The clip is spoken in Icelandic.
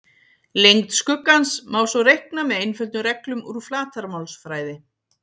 Lengd skuggans má svo reikna með einföldum reglum úr flatarmálsfræði.